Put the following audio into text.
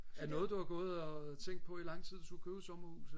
er det noget du har gået og tænkt på i lang tid at du skulle købe et sommerhus